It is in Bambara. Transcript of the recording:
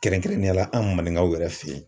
Kɛrɛnkɛrɛnnenya la anw maninkaw yɛrɛ fɛ yen